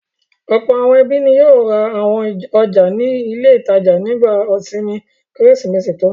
Ọ̀pọ̀ àwọn ẹbí ni yóò ra àwọn ọjà ní ilé-ìtajà nígbà ìsinmi Kérésìmesì tó ń bọ̀.